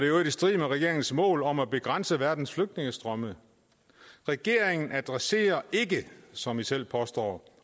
øvrigt i strid med regeringens mål om at begrænse verdens flygtningestrømme regeringen adresserer ikke som i selv påstår